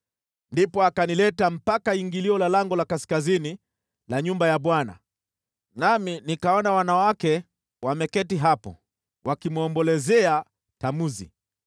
Ndipo akanileta mpaka ingilio la lango la kaskazini la nyumba ya Bwana , nami nikaona wanawake wameketi hapo, wakimwombolezea Tamuzi.